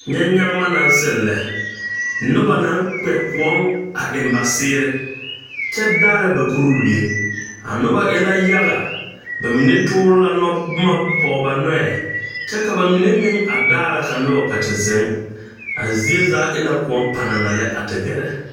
Nyɛ nyaŋma naŋ seŋ lɛ noba naŋ kpɛ kõɔŋ a eŋ ba seere kyɛ daara ba kuriwie a nobɔ e la yaga ba mine toore la nɔbomma pɔg ba noɔɛ kyɛ ka ba mine meŋ a daara ka nobɔ kpɛ te zeŋ a zie zaa e la kõɔ panana lɛ a te gɛrɛ .